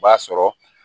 O b'a sɔrɔ